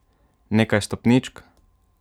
Nekaj stopničk?